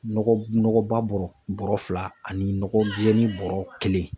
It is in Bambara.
Nɔgɔ nɔgɔba bɔrɔ bɔrɔ fila ani nɔgɔjɛni bɔrɔ kelen.